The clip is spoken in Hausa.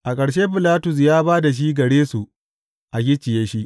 A ƙarshe Bilatus ya ba da shi gare su a gicciye shi.